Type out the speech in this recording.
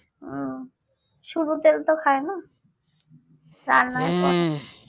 হুঁ শুধু তেল তো খায় না রান্না করে